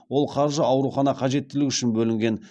ол қаржы аурухана қажеттілігі үшін бөлінген